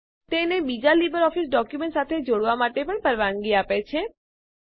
તે એને બીજા લીબરઓફીસ ડોક્યુમેન્ટ સાથે જોડવાં માટે પણ પરવાનગી આપે છે